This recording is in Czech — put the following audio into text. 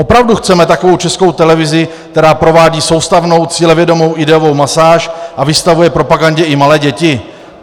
Opravdu chceme takovou Českou televizi, která provádí soustavnou cílevědomou ideovou masáž a vystavuje propagandě i malé děti?